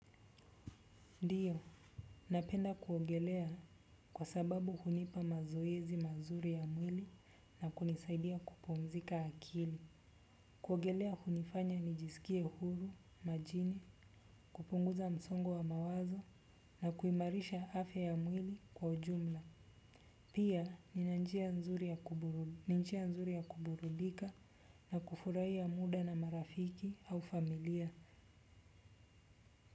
Ndiyo, napenda kuongelea kwa sababu unipa mazoezi mazuri ya mwili na kunisaidia kupomzika akili. Kuongelea kunifanya nijisikie huru, majini, kupunguza msongo wa mawazo na kuimarisha afe ya mwili kwa ujumla. Pia, nina njia nzuri ya kuburudika na kufurai ya muda na marafiki au familia.